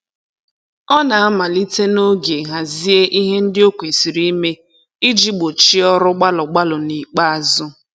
Ọ na-amalite n'oge hazie ihe ndị o kwesịrị ime iji gbochie ọrụ gbalụ gbalụ n'ikpeazụ